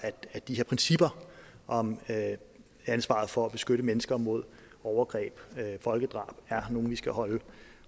at de her principper om ansvaret for at beskytte mennesker mod overgreb og folkedrab er nogle vi skal holde